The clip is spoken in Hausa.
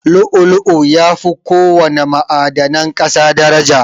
Lu'u-lu'u yafi ko wana ma'adanan ƙasa daraja.